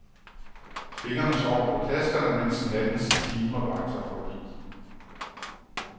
Fingrene sover på tasterne, mens nattens timer vakler forbi.